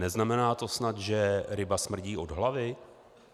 Neznamená to snad, že ryba smrdí od hlavy?